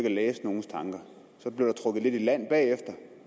at læse nogens tanker så blev der trukket lidt i land bagefter